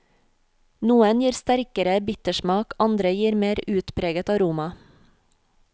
Noen gir sterkere bittersmak, andre gir mer utpreget aroma.